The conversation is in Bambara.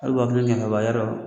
A wa kelen miyɛ kaban y'a dɔ